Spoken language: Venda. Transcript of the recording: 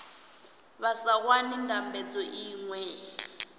vha sa wani ndambedzo iṅwe